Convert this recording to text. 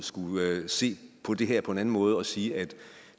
se på det her på en anden måde og sige at